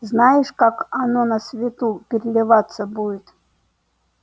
знаешь как оно на свету переливаться будет